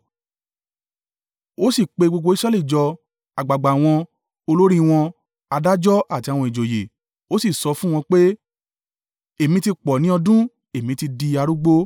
Ó sì pe gbogbo Israẹli jọ: àgbàgbà wọn, olórí wọn, adájọ́ àti àwọn ìjòyè, ó sì sọ fún wọn pé, “Èmi ti pọ̀ ní ọdún èmi ti di arúgbó.